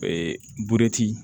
Ee butiti